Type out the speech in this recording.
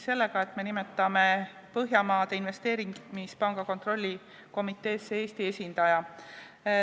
Me nimetame Põhjamaade Investeerimispanga kontrollkomiteesse Eesti esindaja.